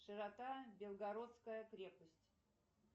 широта белгородская крепость